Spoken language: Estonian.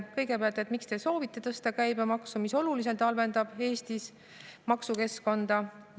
Kõigepealt, miks te soovite tõsta käibemaksu, mis oluliselt halvendab Eestis maksukeskkonda?